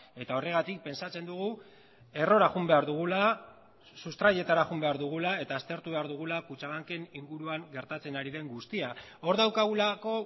eta horregatik pentsatzen dugu errora joan behar dugula sustraietara joan behar dugula eta aztertu behar dugula kutxabanken inguruan gertatzen ari den guztia hor daukagulako